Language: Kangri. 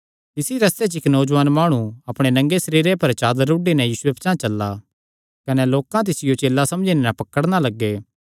तिसी रस्ते च इक्क नौजुआन माणु अपणे नंगे सरीरे पर चादर उढी नैं यीशुये पचांह़ चला कने लोकां तिसियो चेला समझी नैं पकड़ी लेआ